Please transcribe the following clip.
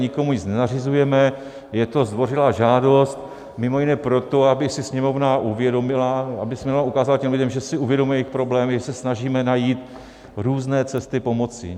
Nikomu nic nenařizujeme, je to zdvořilá žádost mimo jiné proto, aby si Sněmovna uvědomila, aby Sněmovna ukázala těm lidem, že si uvědomuje jejich problémy, že se snažíme najít různé cesty pomoci.